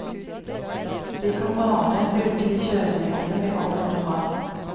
De kan bare å bruke de kjørereglene vi allerede har.